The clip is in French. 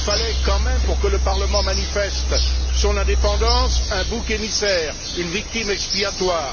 Il fallait quand même, pour que le Parlement manifeste son indépendance, un bouc émissaire, une victime expiatoire.